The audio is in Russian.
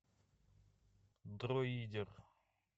друидер